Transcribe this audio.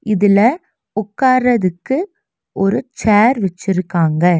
இதுல உக்காரதுக்கு ஒரு சேர் வெச்சிருக்காங்க.